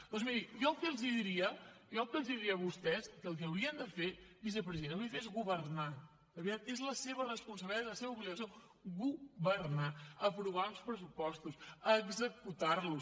doncs miri jo el que els diria a vostès és que el que haurien de fer vicepresident és governar de veritat és la seva responsabilitat i la seva obligació governar aprovar uns pressupostos executar los